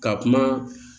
Ka kuma